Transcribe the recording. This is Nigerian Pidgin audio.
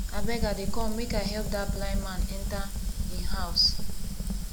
abeg i dey come make i help dat blind man enter im house